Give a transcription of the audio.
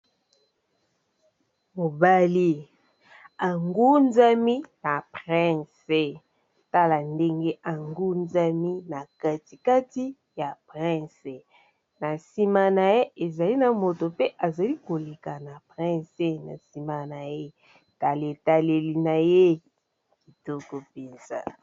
Mobali angunzami na prince tala ndenge angunzami na katikati ya prince na nsima na ye ezali na moto mpe azali koleka na prince na nsima na ye tala etaleli na ye kitoko mpenza.